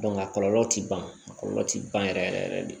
a kɔlɔlɔ ti ban a kɔlɔlɔ tɛ ban yɛrɛ yɛrɛ yɛrɛ de